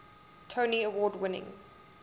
tony award winning